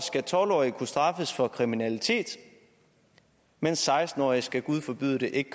skal tolv årige kunne straffes for kriminalitet mens seksten årige gud forbyde det ikke